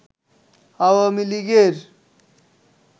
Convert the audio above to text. আওয়ামী লীগের